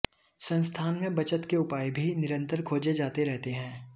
संस्थान में बचत के उपाय भी निरन्तर खोजे जाते रहते हैं